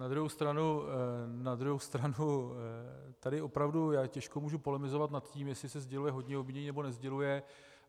Na druhou stranu tady opravdu já těžko mohu polemizovat nad tím, jestli se sděluje hodně obvinění, nebo nesděluje.